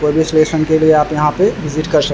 कोई भी सलूशन के लिए आप यहाँ पे विजिट कर सकते है ।